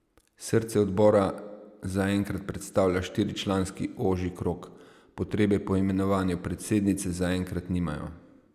Srce odbora za enkrat predstavlja štiričlanski ožji krog, potrebe po imenovanju predsednice za enkrat nimajo.